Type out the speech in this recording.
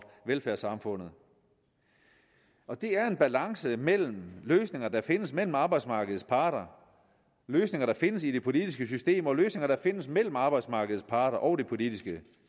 velfærdssamfundet og det er en balance mellem løsninger der findes mellem arbejdsmarkedets parter løsninger der findes i det politiske system og løsninger der findes mellem arbejdsmarkedets parter og det politiske